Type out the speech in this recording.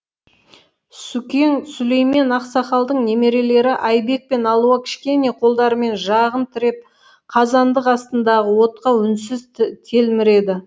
сүкең сүлеймен ақсақалдың немерелері айбек пен алуа кішкене қолдарымен жағын тіреп қазандық астындағы отқа үнсіз телміреді